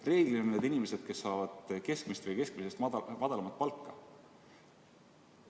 Reeglina on need inimesed, kes saavad keskmist või keskmisest madalamat palka.